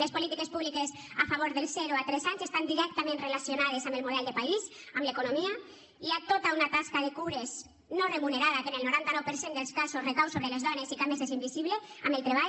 les polítiques públiques a favor del zero a tres anys estan directament relacionades amb el model de país amb l’economia hi ha tota una tasca de cures no remunerada que en el noranta nou per cent dels casos recau sobre les dones i que a més és invisible en el treball